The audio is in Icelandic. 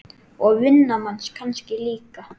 Og vinnan manns kannski líka.